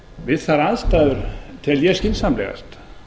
við þær aðstæður tel ég skynsamlegast